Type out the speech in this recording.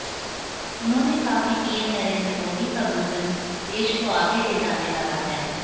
उन्होंने कहा कि पीएम नरेंद्र मोदी का विजन देश को आगे ले जाने वाला है